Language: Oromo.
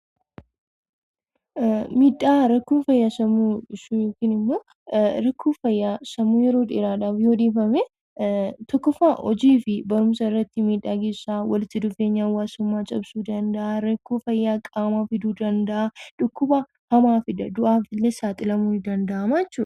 Miidhaa rakkoo fayyaa sammuu hir'isuu yookiin ammoo rakkoo fayyaa sammuu yeroo dheeraadhaaf yoo dhiifamee; tokkoffaa, hojii fi barumsa irratti miidhaa ni geessisaa, walitti dhufeenya hawwaasummaa cabsuu danda'aa, rakkoo fayyaa qaamaa fiduu danda'aa, dhukkuba hamaa fida du'aafillee saaxilamuun ni danda'amaa jechuudha.